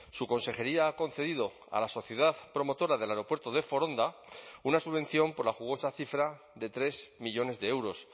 su consejería ha concedido a la sociedad promotora del aeropuerto de foronda una subvención por la jugosa cifra de tres millónes de euros